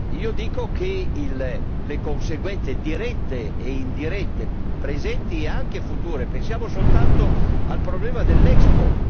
Io sottolineo le conseguenze dirette e indirette presenti e anche future pensiamo soltanto al problema dell'Expo